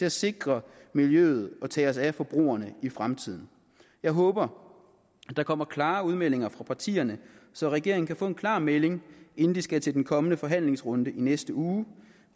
at sikre miljøet og tage os af forbrugerne i fremtiden jeg håber der kommer klare udmeldinger fra partierne så regeringen kan få en klar melding inden de skal til den kommende forhandlingsrunde i næste uge